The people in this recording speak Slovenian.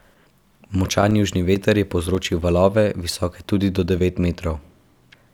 Močan južni veter je povzročil valove, visoke tudi do devet metrov.